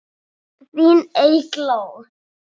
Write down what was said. Þín Eygló.